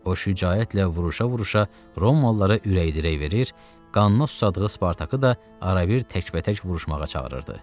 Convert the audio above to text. O şücaətlə vuruşa-vuruşa Romalılara ürək-dirək verir, qanına susadığı Spartakı da arabir təkbətək vuruşmağa çağırırdı.